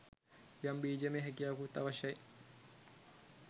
යම් බීජමය හැකියාවකුත් අවශ්‍යයි.